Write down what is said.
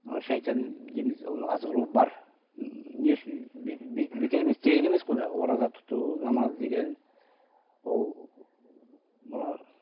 шайтан дейміз оның азғыру бар м не үшін бекер емес тегін емес қой мынау ораза тұту намаз деген ол мына